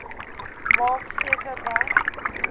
maak seker dat